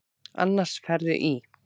Annars ferðu í.